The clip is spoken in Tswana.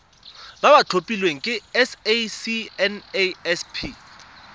ba ba tlhophilweng ke sacnasp